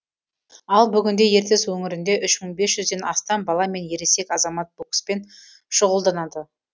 ал бүгінде ертіс өңірінде үш мың бес жүзден астам бала мен ересек азамат бокспен шұғылданады